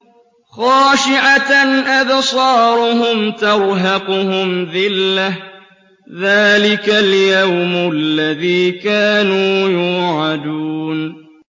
خَاشِعَةً أَبْصَارُهُمْ تَرْهَقُهُمْ ذِلَّةٌ ۚ ذَٰلِكَ الْيَوْمُ الَّذِي كَانُوا يُوعَدُونَ